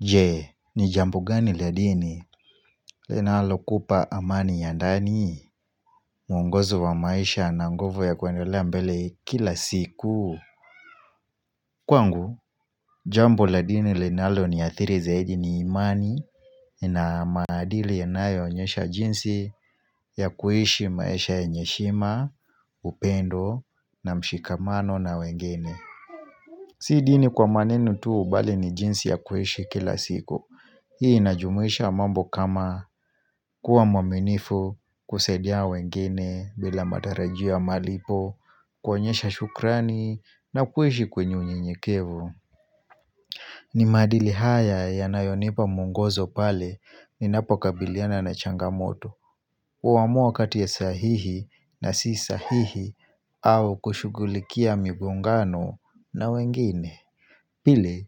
Je ni jambo gani la dini linalokupa amani ya ndani mwongozo wa maisha na nguvo ya kuendelea mbele kila siku Kwangu jambo la dini linalo niathiri zaidi ni imani na maadili yanayoonyesha jinsi ya kuishi maisha yenye heshima upendo na mshikamano na wengine Si dini kwa maneno tu bali ni jinsi ya kuishi kila siku Hii inajumuisha mambo kama kuwa mwaminifu kusadia wengine bila matarajio ya malipo kuonyesha shukrani na kuishi kwenye unyenyekevu. Ni maadili haya yanayonipa mwongozo pale ninapokabiliana na changamoto. Huamua kati ya sahihi na si sahihi au kushughulikia migongano na wengine. Pili,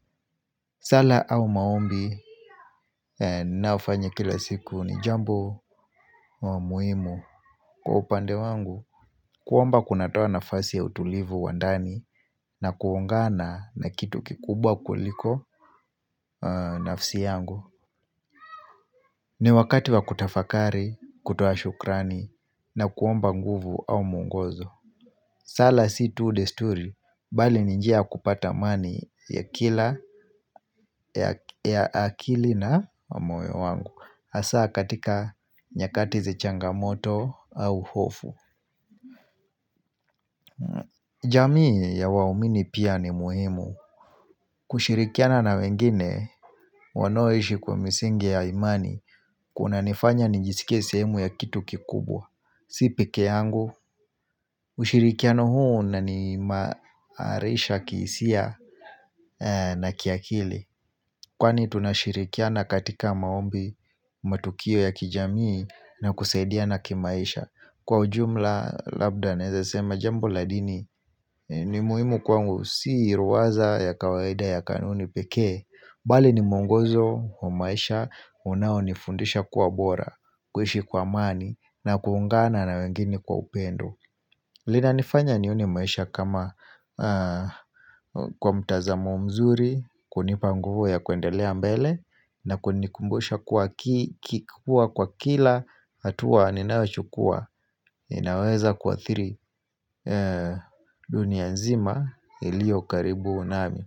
sala au maombi ninayofanya kila siku ni jambo muhimu Kwa upande wangu, kuomba kunatoa nafasi ya utulivu wa ndani na kuungana na kitu kikubwa kuliko nafsi yangu ni wakati wa kutafakari, kutoa shukrani na kuomba nguvu au mwongozo sala si tu desturi, bali ni njia ya kupata amani ya kila, ya akili na moyo wangu hAsa katika nyakati za changamoto au hofu jamii ya waumini pia ni muhimu kushirikiana na wengine wanaoishi kwa misingi ya imani kunanifanya nijisikie sehemu ya kitu kikubwa Si peke yangu ushirikiano huu unaniimarisha kihisia na kiakili Kwani tunashirikiana katika maombi matukio ya kijamii na kusaidiana kimaisha Kwa ujumla labda naweza sema jambo la dini ni muhimu kwangu si ruaza ya kawaida ya kanuni pekee Bali ni mwongozo wa maisha unaonifundisha kuwa bora kuishi kwa amani na kuungana na wengine kwa upendo linanifanya nione maisha kama kwa mtazamo mzuri kunipa mguvu ya kuendelea mbele na kunikumbusha kuwa kiki kuwa kwa kila hatuwa ninayo chukua inaweza kuathiri dunia nzima ilio karibu nami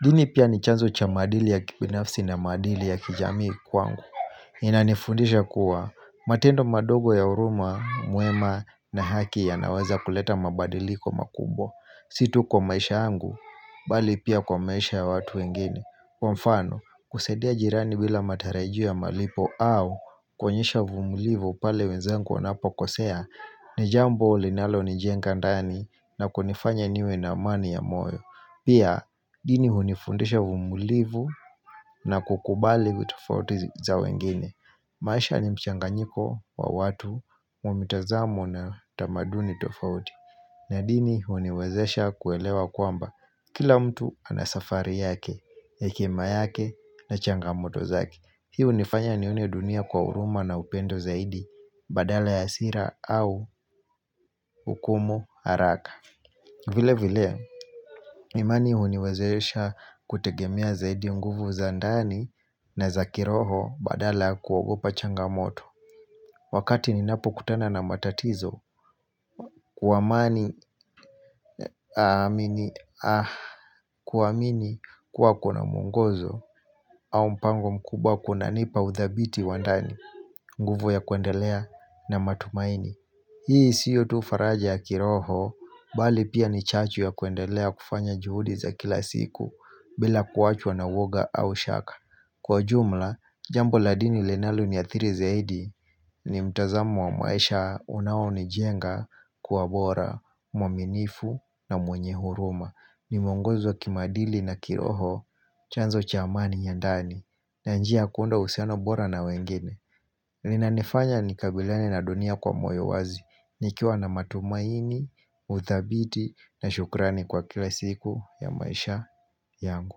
dini pia ni chanzo cha maadili ya kibinafsi na maadili ya kijamii kwangu Inanifundisha kuwa matendo madogo ya huruma mwema na haki yanaweza kuleta mabadiliko makubwa Si tu kwa maisha yangu bali pia kwa maisha ya watu wengine Kwa mfano kusaidia jirani bila matarajio ya malipo au kuonyesha uvumulivu pale wenzangu wanapokosea ni jambo linalo nijenga ndani na kunifanya niwe na amani ya moyo Pia dini hunifundisha uvumilivu na kukubali vitofauti za wengine maisha ni mchanganyiko wa watu wa mitazamo na tamaduni tofauti na dini huniwezesha kuelewa kwamba kila mtu ana safari yake, hekima yake na changamoto zake. Hii hunifanya nione dunia kwa huruma na upendo zaidi badala ya hasira au hukumu haraka. Vile vilea, imani huniwezeesha kutegemea zaidi nguvu za ndani na za kiroho badala kuogopa changamoto. Wakati ninapo kutana na matatizo, kuwamini kuwa kuna mwongozo au mpango mkubwa kunanipa uthabiti wa ndani nguvu ya kuendelea na matumaini. Hii sio tu faraja ya kiroho, bali pia ni chachu ya kuendelea kufanya juhudi za kila siku, bila kuachwa na uwoga au shaka. Kwa jumla, jambo la dini linalo niathiri zaidi ni mtazamo wa maisha unao nijenga kuwa bora, mwaminifu na mwenye huruma. Ni mwongozo wa kimaadili na kiroho, chanzo cha amani ya ndani, na njia kuunda uhusiano bora na wengine. Linanifanya nikabiliane na dunia kwa moyo wazi nikiwa na matumaini, uthabiti na shukrani kwa kila siku ya maisha yangu.